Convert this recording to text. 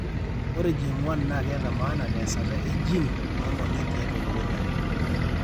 Ore GM1 naa keeta maana teesata e gene oo ng'onyo tiatua elukunya .